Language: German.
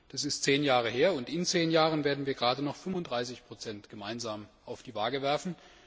Das ist zehn Jahre her, und in zehn Jahren werden wir gerade noch 35 gemeinsam auf die Waage werfen.